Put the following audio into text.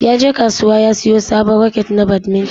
Yaje kasuwa ya siyo sabon raket na badminton.